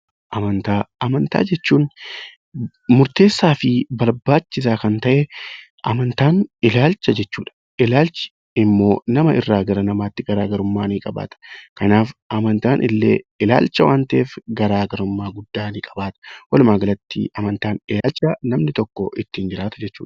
Amantaa Amantaa jechuun murteessaa fi barbaachisaa kan ta'e, amantaa jechuun ilaalcha jechuudha. Ilaalchi immoo namoota namootaatti garaagarummaa ni qaba. Amantaan illee ilaalcha waan ta'eef garaagarummaa guddaa ni qabaata. Walumaa galatti amantaa jechuun ilaalcha namni tokko ittiin jiraatu jechuudha.